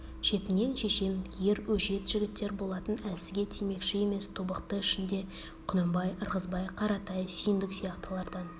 шетінен шешен ер өжет жігіттер болатын әлсізге тимекші емес тобықты ішінде құнанбай ырғызбай қаратай сүйіндік сияқтылардан